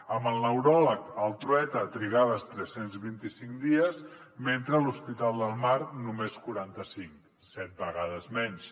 amb el neuròleg al trueta trigaves tres cents i vint cinc dies i a l’hospital del mar només quaranta cinc set vegades menys